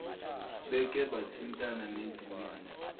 beke bathintana nezinyoni